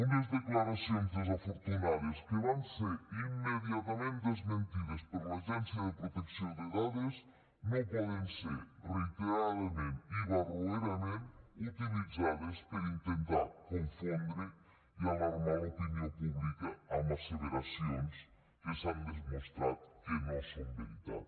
unes declaracions desafortunades que van ser immediatament desmentides per l’agència de protecció de dades no poden ser reiteradament i barroerament utilitzades per intentar confondre i alarmar l’opinió pública amb asseveracions que s’han demostrat que no són veritat